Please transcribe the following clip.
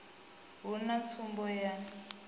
hu na tsumbo ya u